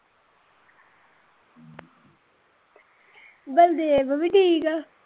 ਬਲਦੇਵ ਵੀ ਠੀਕ ਆ